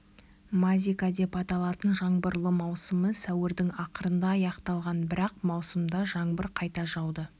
мазика деп аталатын жаңбырлы маусымы сәуірдің ақырында аяқталған бірақ маусымда жаңбыр қайта жауды